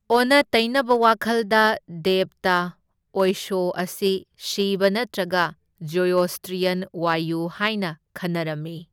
ꯑꯣꯟꯅ ꯇꯩꯅꯕ ꯋꯥꯈꯜꯗ ꯗꯦꯕꯇ ꯑꯣꯏꯁꯣ ꯑꯁꯤ ꯁꯤꯚ ꯅꯠꯇ꯭ꯔꯒ ꯖꯣꯔꯣꯁꯇ꯭ꯔꯤꯌꯟ ꯋꯥꯌꯨ ꯍꯥꯏꯅ ꯈꯟꯅꯔꯝꯃꯤ꯫